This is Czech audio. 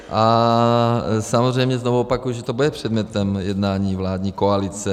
A samozřejmě znovu opakuji, že to bude předmětem jednání vládní koalice.